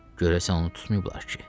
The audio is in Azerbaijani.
Görəsən onu tutmayıblar ki?